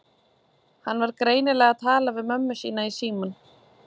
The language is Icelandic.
Hann var greinilega að tala við mömmu sína í símann.